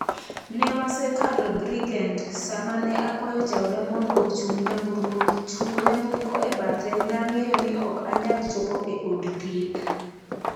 Ne wasekalo Bridgend sama ne akwayo jaoda mondo ochung nyamburko, chungo nyamburko e bathe, nang'eyo ni ok anyal chopo e od thieth.